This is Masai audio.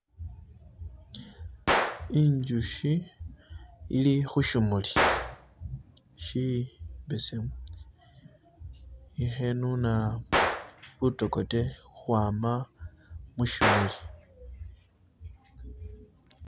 Injushi ili khu shimuli shibesemu ilikhenuna butokote khukhwama mushimuli.